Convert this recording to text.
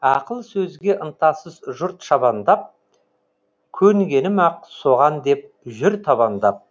ақыл сөзге ынтасыз жұрт шабандап көнгенім ак соған деп жүр табандап